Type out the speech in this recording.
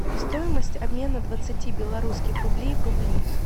стоимость обмена двадцати белорусских рублей в рубли